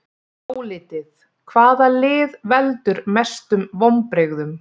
Álitið: Hvaða lið veldur mestum vonbrigðum?